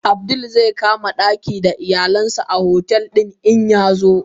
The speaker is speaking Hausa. Abdul zaikama daki da iyalansa a otel din in yazo.